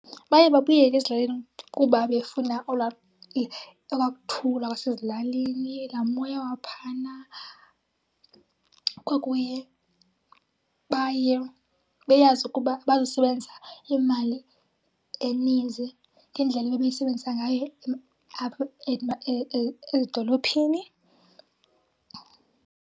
Baye babuyele ezilalini kuba befuna ola okwa kuthula kwasezilalini, laa moya waphana. Kokunye baye beyazi ukuba bazosebenzisa imali eninzi ngendlela ebebeyisebenzisa ngayo apha edolophini.